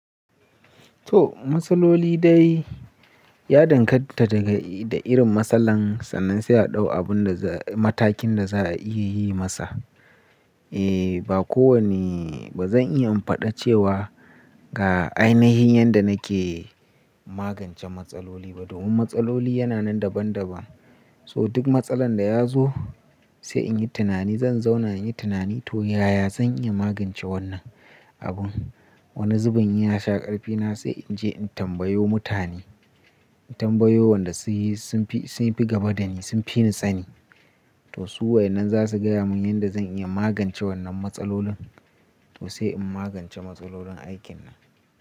To, matsaloli dai ya danganta da irin matsalan sannan sai a ɗau abun da matakin da za a iya yi masa. Eh ba kowane ba zan iya imfada cewa ga ainihin yadda nake magance matsaloli ba. Domin matsaloli yana nan daban daban. So duk matsalar da ya zo sai in yi tunani, zan zauna in yi tunani to yaya zan iya magance wannan abun. Wani zubun in ya sha ƙarfi na sai in je in tambayo mutane. In tambayo wanda sun fi gaba dani sun fi ni sani. To su waƴannan za su gaya mun yadda zan iya magance wannan matsalolin. To sai in magance matsalolin aikin nan.